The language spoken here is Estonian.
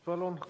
Palun!